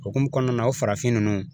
Okumu kɔnɔna na o farafin ninnu